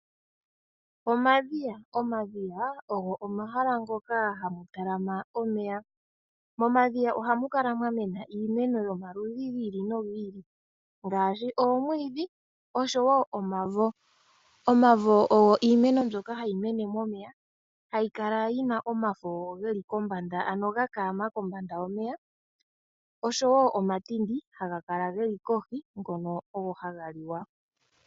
Omadhiya Omadhiya omahala moka hamu talama omeya. Momadhiya ohamu kala mwa mena iimeno yomaludhi gi ili nogi ili ngaashi oomwiidhi osho wo omavo. Omavo ogo iimeno mbyoka hayi mene momeya hayi kala yi na omafo ge li kombanda, ano ga kaama kombanda yomeya, osho wo omatindi haga kala ge li kohi ngono ogo haga liwa.